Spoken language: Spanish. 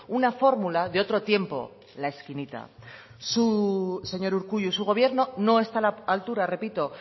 una fórmula de otro tiempo la esquinita señor urkullu su gobierno no está a la altura repito